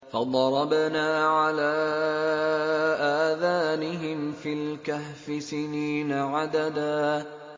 فَضَرَبْنَا عَلَىٰ آذَانِهِمْ فِي الْكَهْفِ سِنِينَ عَدَدًا